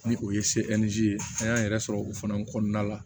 Ni o ye ye an y'an yɛrɛ sɔrɔ o fana kɔnɔna la